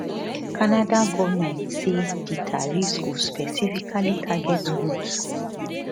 canada goment say di tariffs go specifically target goods